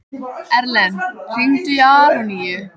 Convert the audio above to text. Erlen, hringdu í Aroníu.